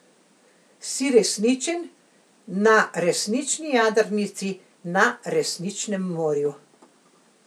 Si resničen, na resnični jadrnici, na resničnem morju.